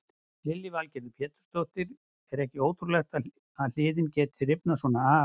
Lillý Valgerður Pétursdóttir: Er ekki ótrúlegt að hliðin geti rifnað svona af?